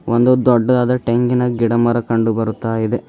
ಒಂದು ದೊಡ್ಡದಾದ ಟೆಂಗಿನ ಗಿಡಮರ ಕಂಡುಬರುತ್ತಾಯಿದೆ.